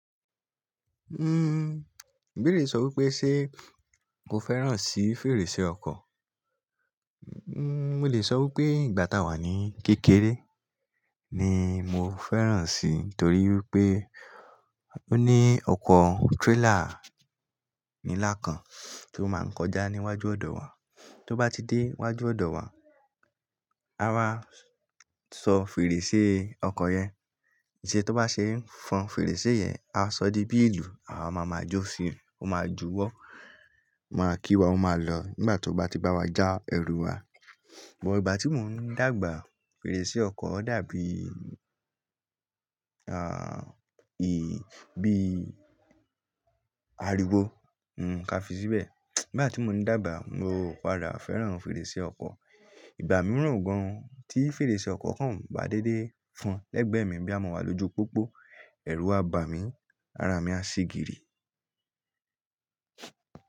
Uhm, ìbéerè sọ wí pé ṣé mo fẹ́ràn sí fèrèsé ọkọ̀? N-n ò lè sọ wí pé ìgbà táa wà ní kékeré ni mo fẹ́ràn si, torí wípé ó ní ọkọ̀ trailer nílá kan tó máa ń kọjá níwájú ọ̀dọ̀ wa. Tó bá ti dé wájú ọ̀dọ̀ wa, a máa sọ fèrèsé ọkọ̀ yẹn. Ṣé tó bá ṣe é fọn fèrèsé yẹn, a sọ di bí ìlù, àwa ma ma jó sí i, ó máa júwọ́, máa kí wa, ó máa lọ nígbà tó bá ti bá wa já ẹrù wa. Bọ̀ ìgbà tí mò ń dàgbà, fèrèsé ọkọ̀ dàbí, ah, ì, bí àriwo hm, ka fi síbẹ̀. Ìgbà tí mò ní dàgbà, mo kára fẹ́ràn fèrèsé ọkọ̀. Ìgbà mìíràn gan-an tí fèrèsé ọkọ̀ kan ba dédé fọn lẹ́gbẹ̀ẹ́ mi bí a mọ̀ ọ́ lójú pópó, ẹrù a bà mí, ara mi á ṣìgiri.